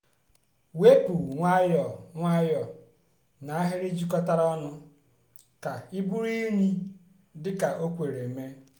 wepu nwayọọ nwayọọ na n'ahịrị jikọtara ọnụ ka iburu unyi dị ka o kwere mee.